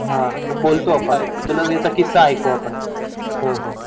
हा हा बोलतो आपण मग तुला किस्सा ऐकू आपण